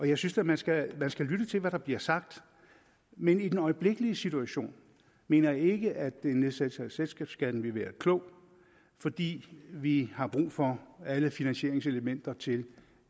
jeg synes da man skal skal lytte til hvad der bliver sagt men i den øjeblikkelige situation mener jeg ikke at en nedsættelse af selskabsskatten vil være klogt fordi vi har brug for alle finansieringselementer til